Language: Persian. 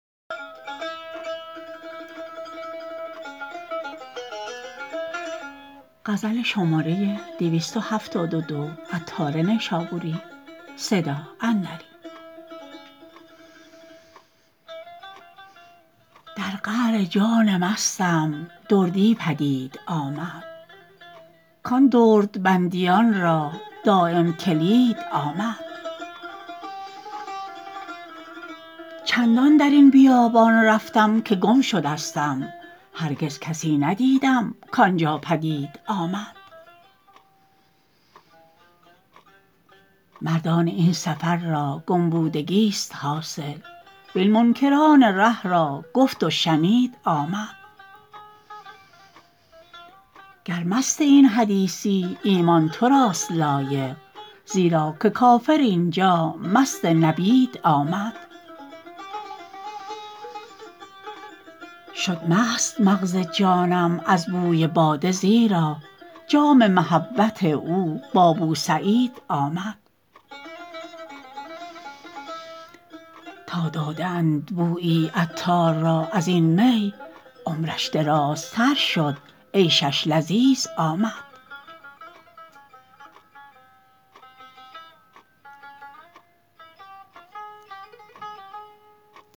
در قعر جان مستم دردی پدید آمد کان درد بندیان را دایم کلید آمد چندان درین بیابان رفتم که گم شدستم هرگز کسی ندیدم کانجا پدید آمد مردان این سفر را گم بودگی است حاصل وین منکران ره را گفت و شنید آمد گر مست این حدیثی ایمان تو راست لایق زیرا که کافر اینجا مست نبید آمد شد مست مغز جانم از بوی باده زیرا جام محبت او با بوسعید آمد تا داده اند بویی عطار را ازین می عمرش درازتر شد عیشش لذیذ آمد